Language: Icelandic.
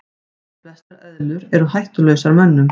Flestar eðlur eru hættulausar mönnum.